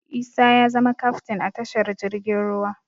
Isa ya zama kaftin a tashar jirgin ruwa